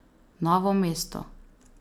Novo mesto.